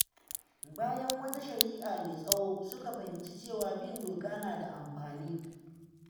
Bayan wata shari’a mai tsawo, suka fahimci cewa bin doka na da amfani.